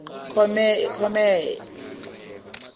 comere